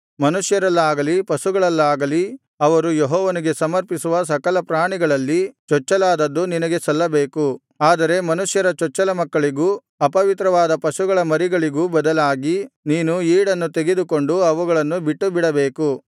ಮನುಷ್ಯರಲ್ಲಾಗಲಿ ಪಶುಗಳಲ್ಲಾಗಲಿ ಅವರು ಯೆಹೋವನಿಗೆ ಸಮರ್ಪಿಸುವ ಸಕಲಪ್ರಾಣಿಗಳಲ್ಲಿ ಚೊಚ್ಚಲಾದದ್ದು ನಿನಗೆ ಸಲ್ಲಬೇಕು ಆದರೆ ಮನುಷ್ಯರ ಚೊಚ್ಚಲಮಕ್ಕಳಿಗೂ ಅಪವಿತ್ರವಾದ ಪಶುಗಳ ಮರಿಗಳಿಗೂ ಬದಲಾಗಿ ನೀನು ಈಡನ್ನು ತೆಗೆದುಕೊಂಡು ಅವುಗಳನ್ನು ಬಿಟ್ಟುಬಿಡಬೇಕು